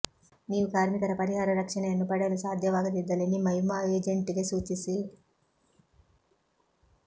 ನೀವು ಕಾರ್ಮಿಕರ ಪರಿಹಾರ ರಕ್ಷಣೆಯನ್ನು ಪಡೆಯಲು ಸಾಧ್ಯವಾಗದಿದ್ದಲ್ಲಿ ನಿಮ್ಮ ವಿಮಾ ಏಜೆಂಟ್ಗೆ ಸೂಚಿಸಿ